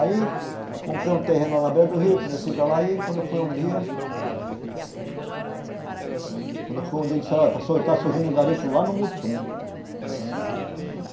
Aí, comprei um terreno lá na beira do rio, comecei para lá e quando foi um dia Quando foi um dia, disseram, olha, está surgindo um garimpo lá no Mutum.